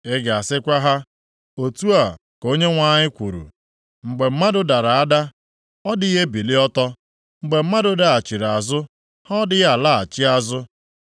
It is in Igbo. “Ị ga-asịkwa ha, ‘Otu a ka Onyenwe anyị kwuru: “ ‘Mgbe mmadụ dara ada, ọ dịghị ebili ọtọ? Mgbe mmadụ daghachiri azụ, ha ọ dịghị alaghachi azụ?